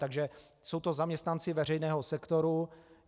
Takže jsou to zaměstnanci veřejného sektoru.